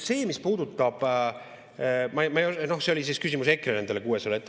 See küsimus oli EKRE nende 600.